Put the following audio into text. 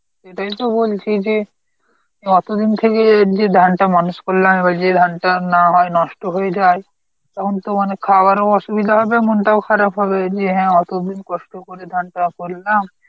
এটাই তো বলছি যে, এতদিন থেকে এই অবধি ধান টা মানুষ করলাম এবার যদি ধানটা না হয়, নষ্ট হয়ে যায় তখন তো মানে খাবারও অসুবিধা হবে মনটাও খারাপ হবে যে হ্যাঁ অতদিন কষ্ট করে ধানটা করলাম